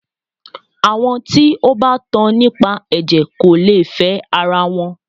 Àwọn tí o bá tan nípa ẹ̀jẹ̀ kò lè fẹ ara wọn.